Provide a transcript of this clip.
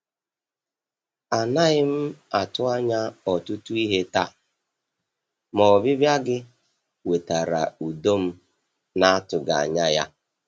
A naghị m atụ anya ọtụtụ ihe taa, ma ọbịbịa gị wetara udo m na-atụghị anya ya.